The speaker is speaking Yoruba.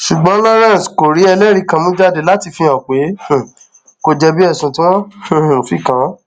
ṣùgbọn lawrence kò rí ẹlẹrìí kan mú jáde láti fihàn pé um kò jẹbi ẹsùn tí wọn um fi kàn án